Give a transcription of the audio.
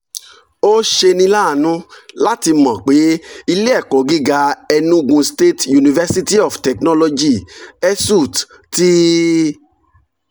ó ṣeni láàánú láti mọ̀ pé ilé ẹ̀kọ́ gíga enugu state university of technology (esut) ti